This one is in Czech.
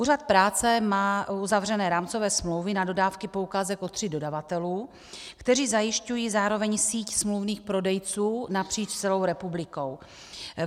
Úřad práce má uzavřeny rámcové smlouvy na dodávky poukázek od tří dodavatelů, kteří zajišťují zároveň síť smluvních prodejců napříč celou republikou.